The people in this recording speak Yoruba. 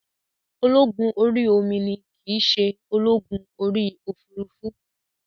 Ológun orí omi ni kìí se ológun orí òfurufú